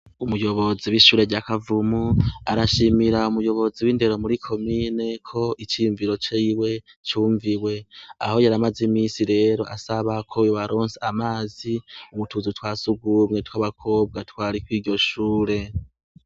Umuyobozi w' ishure rya Kavumo arashimira umuyobozi w' indero muri komine ko iciyumviro ciwe cumviwe aho yaramaze imisi rero asaba ko yobaronsa amazi mutuzu twa sugumwe tw' abakobwa twari kuri iryo shure.